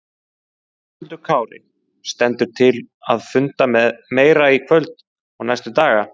Höskuldur Kári: Stendur til að funda meira í kvöld og næstu daga?